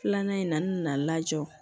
Filanan in na n nana lajɔ